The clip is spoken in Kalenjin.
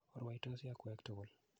Orwoitosi akwek tukul.